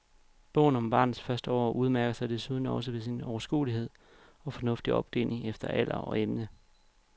Bogen om barnets første år udmærker sig desuden også ved sin overskuelige og fornuftige opdeling efter alder og emne.